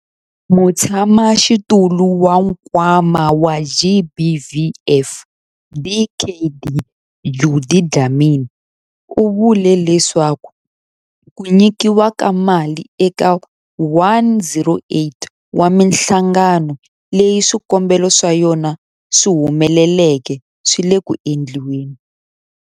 Mutshamaxitulu wa Nkwama wa GBVF, Dkd Judy Dlamini, u vule leswaku ku nyikiwa ka mali eka 108 wa mihlangano leyi swikombelo swa yona swi humeleleke swi le ku endliweni.